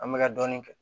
An bɛka ka dɔɔnin kɛ